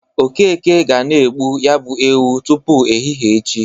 Okeke ga na-egbu ya bụ ewu tupu ehihe echi.